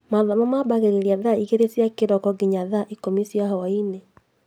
Mathomo mambagĩrĩria thaa igrĩrĩ cia kiroko nginya thaa ikũmi cia hwainĩ